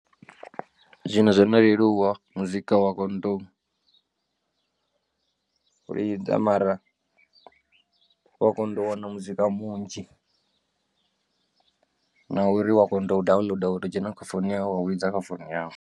Zwino zwo no leluwa muzika wa konoto u lidza mara wa konḓa u wana muzika munzhi na uri wa konoto u downloader wa to dzhena kha founu yau wa lidza kha founu yawe.